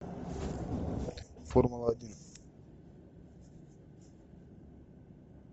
формула один